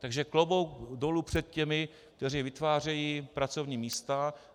Takže klobouk dolů před těmi, kteří vytvářejí pracovní místa.